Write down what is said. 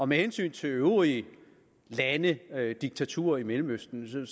med hensyn til øvrige lande der er diktaturer i mellemøsten